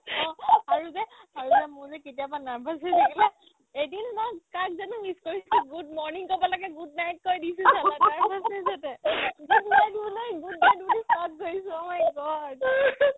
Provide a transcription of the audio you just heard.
আৰু যে আৰু যে মোৰ যে কেতিয়াবা nervous হৈ থাকিলে এদিন মই কাক জানো miss কৰিছো good morning ক'ব লাগে good night কৈ দিছো ছালা তাৰপাছত যে তই good night বুলি good night বুলি কাক কৈছ oh my god